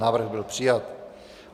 Návrh byl přijat.